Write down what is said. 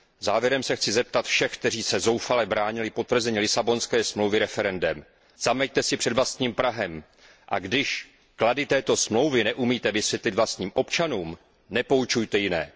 Závěrem chci vzkázat všem, kteří se zoufale bránili potvrzení Lisabonské smlouvy referendem zaměťte si před vlastním prahem, a když klady této smlouvy neumíte vysvětlit vlastním občanům, nepoučujte jiné.